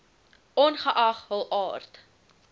ongeag hul aard